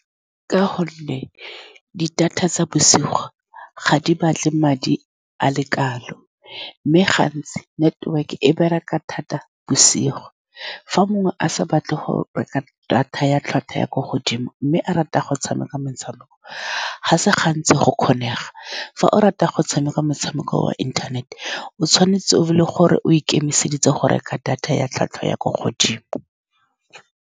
Ka gonne di-data tsa bosigo ga di batle madi a le kalo, mme gantsi network-e e bereka thata bosigo. Fa mongwe a sa batle go ka reka data ya tlhwatlhwa ya ko godimo mme a rata go tshameka metshameko, ga se gantsi go kgonega. Fa o rata go tshameka motshameko wa inthanete, o tshwanetse o be e le gore o ikemiseditse go reka data ya tlhwatlhwa ya ko godimo.